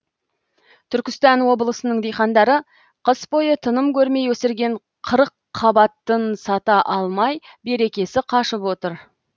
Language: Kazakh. түркістан облысының диқандары қыс бойы тыным көрмей өсірген қырыққабатын сата алмай берекесі қашып отыр